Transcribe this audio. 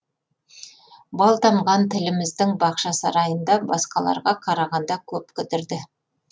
бал тамған тіліміздің бақшасарайында басқаларға қарағанда көп кідірді